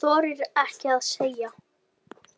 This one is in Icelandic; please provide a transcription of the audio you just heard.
Hún þorir ekkert að segja.